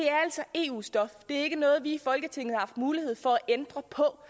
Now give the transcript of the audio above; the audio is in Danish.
eu stof det er ikke noget som vi i folketinget har haft mulighed for at ændre på